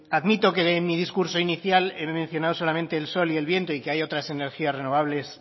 admito que en mi discurso inicial he mencionado solamente el sol y del viento y que hay otras energías renovables